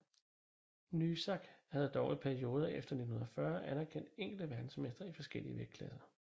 NYSAC havde dog i perioder efter 1940 anerkendt enkelte verdensmestre i forskellige vægtklasser